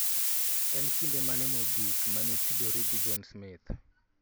En kinde mane mogik mane itudori gi John Smith/